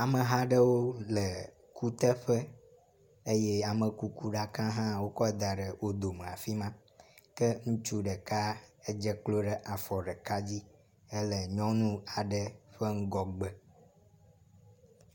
Ameha aɖewo le kuteƒe eye amekukuɖaka hã wokɔ da ɖe wo dome afi ma ke ŋutsu ɖeka dze klo ɖe afɔ ɖeka dzi hele nyɔnu aɖe ƒe ŋgɔgbe.ɛ